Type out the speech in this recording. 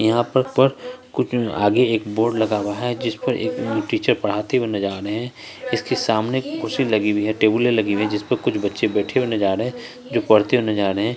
यहां पर पर कुछ आगे एक बोर्ड लगा हुआ है जिस पर एक टीचर पढ़ाते हुए नज़र आ रहे हैं इसके सामने कुर्सी लगी हुई हैं टेबलें लगी हुई हैं जिस पर कुछ बच्चे बैठे हुए नज़र आ रहे हैं जो पड़ते हुए नज़र आ रहे हैं।